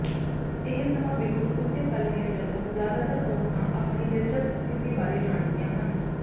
ਇਹ ਸਮਾਂ ਬਿਲਕੁਲ ਉਸੇ ਪਲ ਹੈ ਜਦੋਂ ਜ਼ਿਆਦਾਤਰ ਔਰਤਾਂ ਆਪਣੀ ਦਿਲਚਸਪ ਸਥਿਤੀ ਬਾਰੇ ਜਾਣਦੀਆਂ ਹਨ